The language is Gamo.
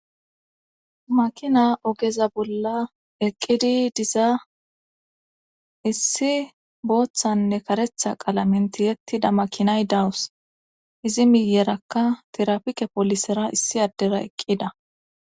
makina ogeza bolla eqqidi diza issi booththanne karetha qalamen tiyettida makinay dawus izi miyerakka tirapike polisera issi addera eqqida